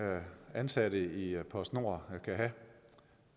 ansatte i post nord jeg